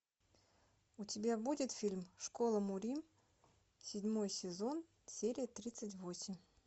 у тебя будет фильм школа мурим седьмой сезон серия тридцать восемь